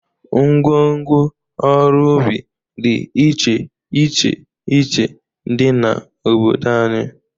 Ngwo ngwo ọrụ ubi dị iche iche iche dị n'obodo anyị.